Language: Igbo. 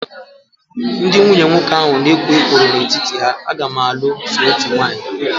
Ndị nwunye nwoke ahụ na ekwo ekworo n'etiti ha, a ga m alụ so otú nwanyi